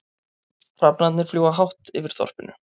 Hrafnarnir fljúga hátt yfir þorpinu.